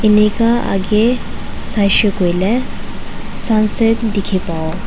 neka aki saishi koile sunset teki babo.